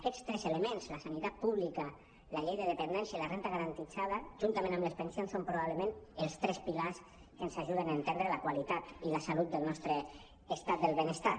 aquests tres elements la sanitat pública la llei de dependència i la renda garan·tida juntament amb les pensions són probablement els tres pilars que ens ajuden a entendre la qualitat i la salut del nostre estat del benestar